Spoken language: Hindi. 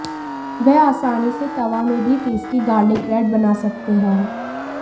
वह आसानी से तवा में भी टेस्टी गार्लिक ब्रेड बना सकते हैं